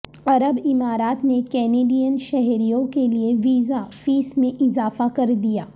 عرب امارات نے کینیڈین شہریوں کےلئے ویزا فیس میں اضافہ کر دیا